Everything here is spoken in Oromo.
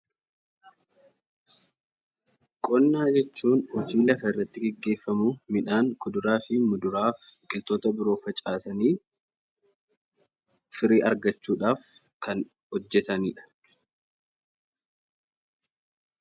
Qonna jechuun hojii lafarratti geggeeffamuu midhaan, kuduraa fi muduraa ,biqiltoota biroo facaasanii firii argachuudhaaf kan hojjetanidha.